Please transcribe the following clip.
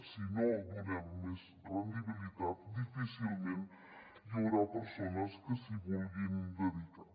si no donem més rendibilitat difícilment hi haurà persones que s’hi vulguin dedicar